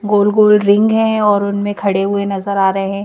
गोल गोल रिंग है और उनमें खड़े हुए नजर आ रहे हैं।